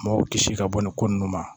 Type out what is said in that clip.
Mɔgɔw kisi ka bɔ nin ko ninnu ma